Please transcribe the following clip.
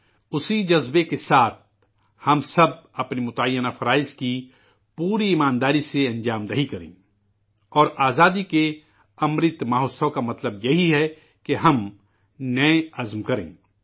اسی جذبے کے ساتھ، ہم سب، اپنے مقررہ فرائض کو پوری ایمانداری سے انجام دیں اور آزادی کا 'امرت مہوتسو' کا مطلب یہی ہے کہ ہم اپنے عزم کی تجدید کریں